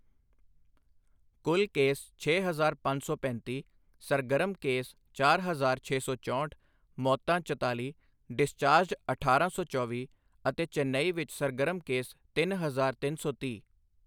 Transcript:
ਕੁੱਲ ਕੇਸ ਛੇ ਹਜ਼ਾਰ ਪੰਜ ਸੌ ਪੈਂਤੀ, ਸਰਗਰਮ ਕੇਸ ਚਾਰ ਹਜ਼ਾਰ ਛੇ ਸੌ ਚੋਂਹਠ, ਮੌਤਾਂ ਚਤਾਲੀ, ਡਿਸਚਾਰਜਡ ਅਠਾਰਾਂ ਸੌ ਚੌਵੀ ਅਤੇ ਚੇਨਈ ਵਿੱਚ ਸਰਗਰਮ ਕੇਸ ਤਿੰਨ ਹਜ਼ਾਰ ਤਿੰਨ ਸੌ ਤੀਹ।